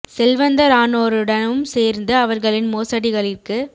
செல்வந்தரானோருடனும் சேர்ந்து அவர்களின் மோசடிகளிற்கு